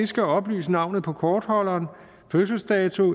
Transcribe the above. skal oplyse navnet på kortholderen fødselsdato